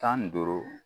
Tan ni duuru